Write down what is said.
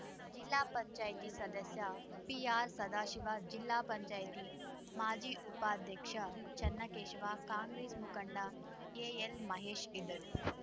ಜಿಲ್ಲಾ ಪಂಚಾಯ್ತಿ ಸದಸ್ಯ ಪಿಆರ್‌ ಸದಾಶಿವ ಜಿಲ್ಲಾ ಪಂಚಾಯ್ತಿ ಮಾಜಿ ಉಪಾಧ್ಯಕ್ಷ ಚೆನ್ನಕೇಶವ ಕಾಂಗ್ರೆಸ್‌ ಮುಖಂಡ ಎಎಲ್‌ಮಹೇಶ್‌ ಇದ್ದರು